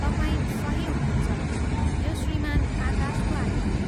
तपाईँ सही हुनुहुन्छ, यो श्रीमान आकाशको आइडी हो।